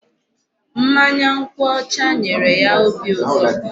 Mmanya nkwụ ọcha nyere ya obi ụtọ.